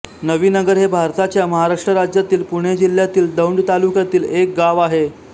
नवीनगर हे भारताच्या महाराष्ट्र राज्यातील पुणे जिल्ह्यातील दौंड तालुक्यातील एक गाव आहे